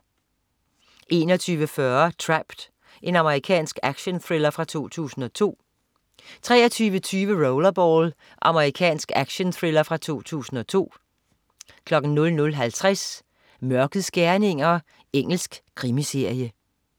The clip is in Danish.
21.40 Trapped. Amerikansk actionthriller fra 2002 23.20 Rollerball. Amerikansk actionthriller fra 2002 00.50 Mørkets gerninger. Engelsk krimiserie